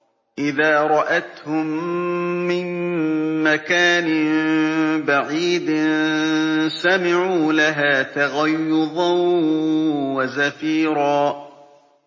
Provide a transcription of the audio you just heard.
إِذَا رَأَتْهُم مِّن مَّكَانٍ بَعِيدٍ سَمِعُوا لَهَا تَغَيُّظًا وَزَفِيرًا